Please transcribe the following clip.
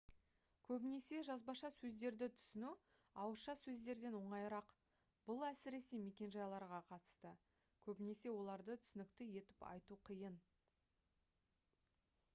көбінесе жазбаша сөздерді түсіну ауызша сөздерден оңайырақ бұл әсіресе мекенжайларға қатысты көбінесе оларды түсінікті етіп айту қиын